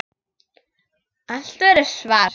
Allt verður svart.